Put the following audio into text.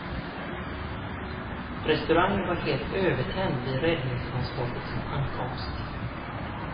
Restaurangen var helt övertänd vid räddningsmanskapets ankomst.